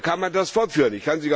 Und so kann man das fortführen.